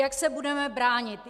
Jak se budeme bránit?